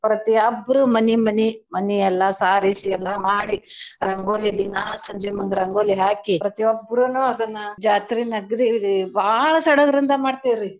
ಪ್ರತಿಯೊಬ್ಬರೂ ಮನಿ ಮನಿ ಮನಿ ಎಲ್ಲಾ ಸಾರ್ಸಿ ಎಲ್ಲಾ ಮಾಡಿ ರಂಗೋಲಿ ದಿನಾ ಸಂಜಿಮುಂದ್ ರಂಗೋಲಿ ಹಾಕಿ ಪ್ರತಿಯೊಬ್ರೂನೂ ಅದನ್ನ ಜಾತ್ರೀನ ಅಗ್ದೀ ಬಾಳ್ ಸೆಡ್ಗರಿಂದ ಮಾಡ್ತಿವ್ರೀ.